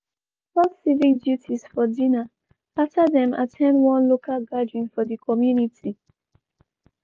dem discuss civic duties for dinner after dem at ten d one local gathering for di community.